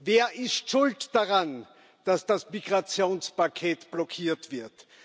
Wer ist schuld daran, dass das Migrationspaket blockiert wird?